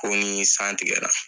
Ko ni san tigɛra